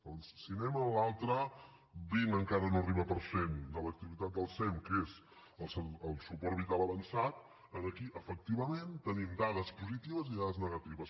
doncs si anem a l’altre vint encara no hi arriba per cent de l’activitat del sem que és el suport vital avançat aquí efectivament tenim dades positives i dades negatives